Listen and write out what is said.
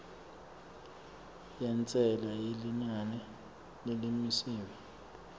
yentsela yelinani lelimisiwe